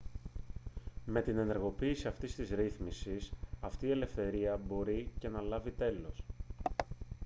με την ενεργοποίηση αυτής της ρύθμισης αυτή η ελευθερία μπορεί και να λάβει τέλος